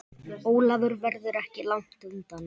Ólafur verður ekki langt undan.